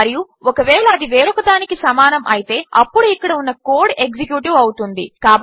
మరియు ఒకవేళ అది వేరొకదానికి సమానము అయితే అప్పుడు ఇక్కడ ఉన్న కోడ్ ఎక్సిక్యూట్ అవుతుంది